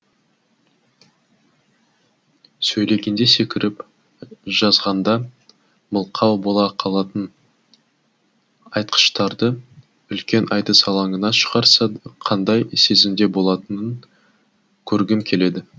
сөйлегенде секіріп жазғанда мылқау бола қалатын айтқыштарды үлкен айтыс алаңына шығарса қандай сезімде болатынын көргім келеді